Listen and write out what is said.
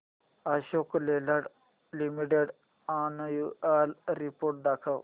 Ashok Leyland limited annual report दाखव